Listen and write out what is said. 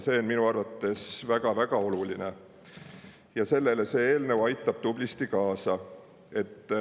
See on minu arvates väga-väga oluline ja sellele see eelnõu aitab tublisti kaasa.